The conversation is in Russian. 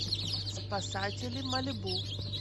спасатели малибу